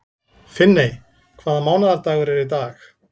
Finney, hvaða mánaðardagur er í dag?